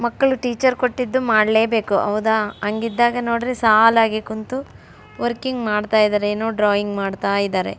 ಮಕ್ಕಳು ಟೀಚರ್ ಕೊಟ್ಟಿದ್ದು ಮಾಡ್ಲೆ ಬೇಕು ಹೌದ ಹಂಗಿದ್ದಾಗ ನೋಡ್ರಿ ಸಾಲಾಗಿ ಕುಂತು ವರ್ಕಿಂಗ್ ಮಾಡ್ತಾ ಇದ್ದಾರೆ ಡ್ರಾಯಿಂಗ್ ಮಾಡ್ತಾ ಇದ್ದಾರೆ.